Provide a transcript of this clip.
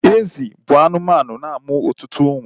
Ezi bụ anụmanụ na-amụ ọtụtụ umu